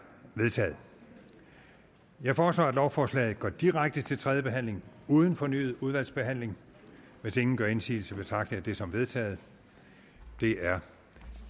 vedtaget jeg foreslår at lovforslaget går direkte til tredje behandling uden fornyet udvalgsbehandling hvis ingen gør indsigelse betragter jeg det som vedtaget det er